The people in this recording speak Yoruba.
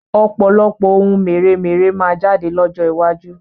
Ọ̀pọ̀lọpọ̀ oun mèremère máa jáde lọ́jọ́ iwájú